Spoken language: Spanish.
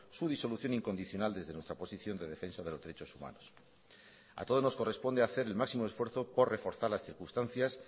su disolución incondicional desde nuestra posición de defensa de los derechos humanos a todos nos corresponde hacer el máximo esfuerzo por reforzar las circunstancias